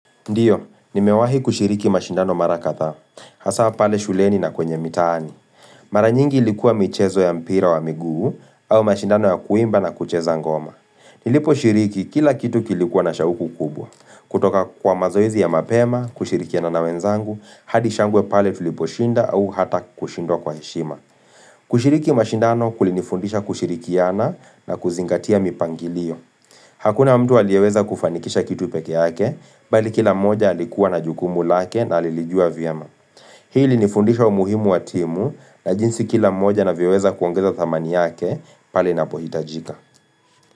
Ndio, nimewahi kushiriki mashindano mara kadha, hasa pale shuleni na kwenye mitaani. Mara nyingi ilikuwa michezo ya mpira wa miguu au mashindano ya kuimba na kucheza ngoma. Niliposhiriki kila kitu kilikuwa na shauku kubwa. Kutoka kwa mazoezi ya mapema, kushirikiana na wenzangu, hadi shangwe pale tuliposhinda au hata kushindwa kwa heshima. Kushiriki mashindano kulinifundisha kushirikiana na kuzingatia mipangilio. Hakuna mtu aliyeweza kufanikisha kitu peke yake, bali kila mmoja alikuwa na jukumu lake na alilijua vyema. Hii ilinifundisha umuhimu wa timu na jinsi kila mmoja anavyoweza kuongeza dhamani yake pale inapohitajika.